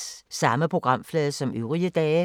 Samme programflade som øvrige dage